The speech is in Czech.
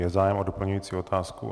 Je zájem o doplňující otázku.